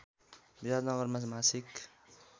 विराटनगरमा मासिक